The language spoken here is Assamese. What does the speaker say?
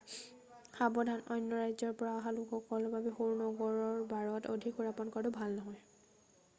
সাৱধান অন্য ৰাজ্যৰ পৰা অহা লোকৰ বাবে সৰু নগৰৰ বাৰত অধিক সুৰাপান কৰাটো ভাল নহয়